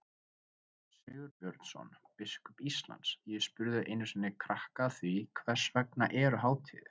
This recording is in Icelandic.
Karl Sigurbjörnsson, biskup Íslands: Ég spurði einu sinni krakka að því, hvers vegna eru hátíðir?